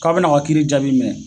K'aw bina a ka kiiri jaabi minɛ